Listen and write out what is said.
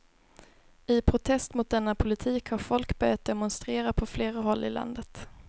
I protest mot denna politik har folk börjat demonstrera på flera håll i landet.